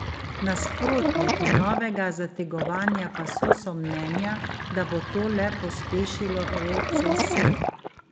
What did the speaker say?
Nasprotniki novega zategovanja pasu so mnenja, da bo to le pospešilo recesijo.